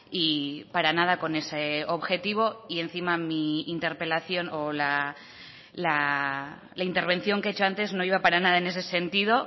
y para nada con ese objetivo y encima mi interpelación o la intervención que he hecho antes no iba para nada en ese sentido